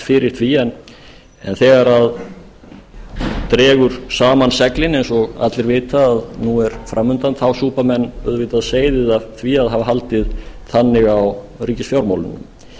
fyrir því en þegar dregur saman seglin eins og allir vita að nú er framundan þá súpa menn auðvitað seyðið af því að hafa haldið þannig á ríkisfjármálunum